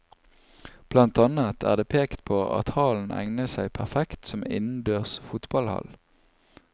Blant annet er det pekt på at hallen egner seg perfekt som innendørs fotballhall.